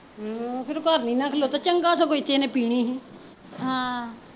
ਫਿਰ ਉਹ ਘਰ ਨੀ ਨਾ ਖਲੋਤਾ ਚੰਗਾ ਸਗੋਂ ਇੱਥੇ ਇਹਨੇ ਪੀਣੀ ਈ ਸੀ ਹਮ